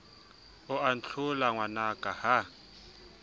o a ntlhola ngwanaka ha